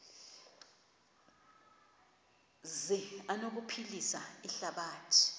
zi anokuphilisa ihlabathi